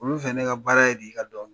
Olu fɛ ne ka baara ye de, ka dɔn kɛ.